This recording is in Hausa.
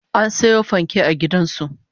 An soya fanke a gidan su